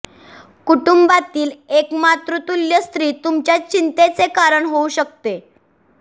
कुटुंबातील एक मातृतुल्य स्त्री तुमच्या चिंतेचे कारण होऊ शकते